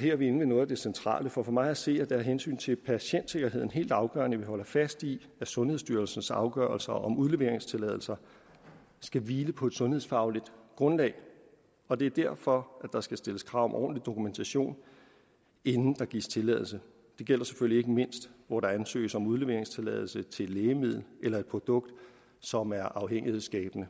her er vi inde ved noget af det centrale for for mig at se er det af hensyn til patientsikkerheden helt afgørende at vi holder fast i at sundhedsstyrelsens afgørelser om udleveringstilladelse skal hvile på et sundhedsfagligt grundlag og det er derfor at der skal stilles krav om ordentlig dokumentation inden der gives tilladelse det gælder selvfølgelig ikke mindst hvor der ansøges om udleveringstilladelse til et lægemiddel eller et produkt som er afhængighedsskabende